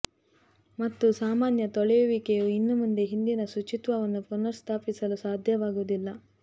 ಮತ್ತು ಸಾಮಾನ್ಯ ತೊಳೆಯುವಿಕೆಯು ಇನ್ನು ಮುಂದೆ ಹಿಂದಿನ ಶುಚಿತ್ವವನ್ನು ಪುನಃಸ್ಥಾಪಿಸಲು ಸಾಧ್ಯವಾಗುವುದಿಲ್ಲ